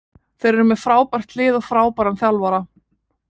Þeir eru með frábært lið og frábæran þjálfara.